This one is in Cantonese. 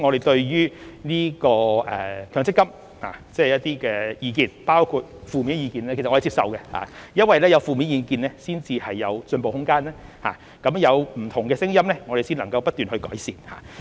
對於強積金的意見，包括負面的意見，我們是接受的。因為有負面意見才有進步的空間，有不同的聲音我們才能不斷去改善。